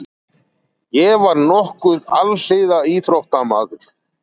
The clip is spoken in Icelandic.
Ég var nokkuð alhliða íþróttamaður.